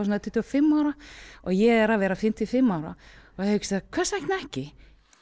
svona tuttugu og fimm ára og ég er að verða fimmtíu og fimm ára og hugsaði hvers vegna ekki